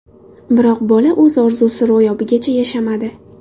Biroq bola o‘z orzusi ro‘yobigacha yashamadi.